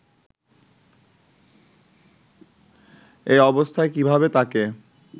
এ অবস্থায় কিভাবে তাকে